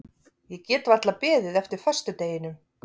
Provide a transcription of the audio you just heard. Ég get varla beðið eftir föstudeginum.